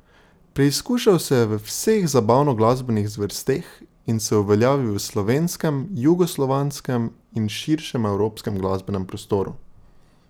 Preizkušal se je v vseh zabavno glasbenih zvrsteh in se uveljavil v slovenskem, jugoslovanskem in širšem evropskem glasbenem prostoru.